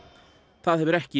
það hefur ekki